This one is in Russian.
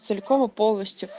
целиком и полностью